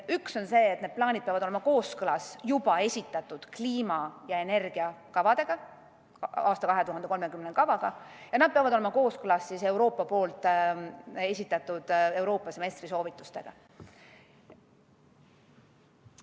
Need plaanid peavad olema kooskõlas juba esitatud kliima- ja energiakavadega, 2030. aasta kavaga, ja nad peavad olema kooskõlas Euroopa semestri soovitustega.